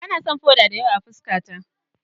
Ba na son foda da yawa a fuskata.